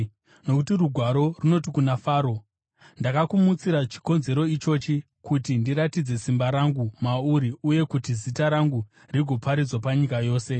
Nokuti Rugwaro runoti kuna Faro, “Ndakakumutsira chikonzero ichochi, kuti ndiratidze simba rangu mauri uye kuti zita rangu rigoparidzwa panyika yose.”